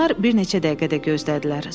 Onlar bir neçə dəqiqə də gözlədilər.